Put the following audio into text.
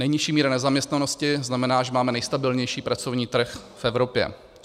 Nejnižší míra nezaměstnanosti znamená, že máme nejstabilnější pracovní trh v Evropě.